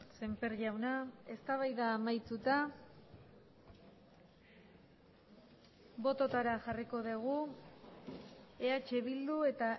sémper jauna eztabaida amaituta bototara jarriko dugu eh bildu eta